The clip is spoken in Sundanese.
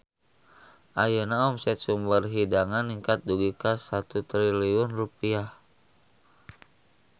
Ayeuna omset Sumber Hidangan ningkat dugi ka 1 triliun rupiah